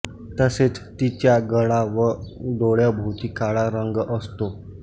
तसेच तिचा गळा व डोळ्याभोवती काळा रंग असतो